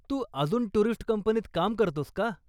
तू अजून टुरिस्ट कंपनीत काम करतोस का?